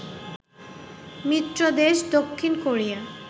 মিত্র দেশ দক্ষিণ কোরিয়া